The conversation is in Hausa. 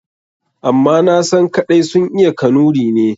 Amma nasan kaɗai sun iya Kanuri ne.